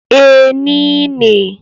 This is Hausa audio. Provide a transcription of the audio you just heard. Ee, ni ne.